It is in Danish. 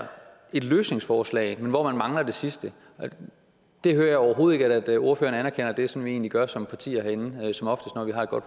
et løsningsforslag men hvor man mangler det sidste der hører jeg overhovedet ikke at ordføreren anerkender det som vi egentlig gør som partier herinde når vi har et godt